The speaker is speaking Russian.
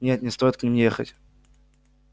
нет не стоит к ним ехать